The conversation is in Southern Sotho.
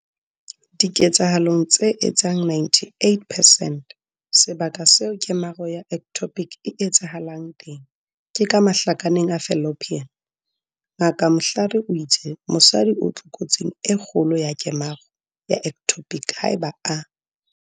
Diketsahalong tse etsang 98 percent, sebaka seo kemaro ya ectopic e etsahalang teng ke ka mahlakaneng a fallopian. Ngaka Mhlari o itse mosadi o tlokotsing e kgolo ya kemaro ya ectopic haeba a.